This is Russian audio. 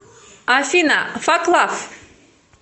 афина фак лав